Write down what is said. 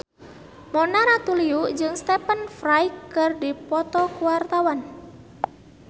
Mona Ratuliu jeung Stephen Fry keur dipoto ku wartawan